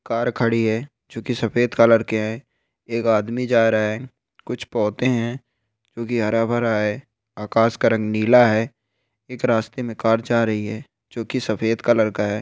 Car खड़ी है जो कि सफेद कलर की है एक आदमी जा रहा है कुछ पौधे है जो कि हरा भरा है आकास का रंग नीला है एक रास्ते में कार जा रही है जो कि सफेद कलर का है।